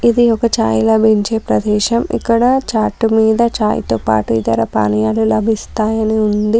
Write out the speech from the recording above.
ఇది ఒక ఛాయ్ లభించే ప్రదేశం. ఇక్కడ చార్టు మీద ఛాయ్తో పాటు ఇతర పానీయాలు లభిస్తాయని ఉంది.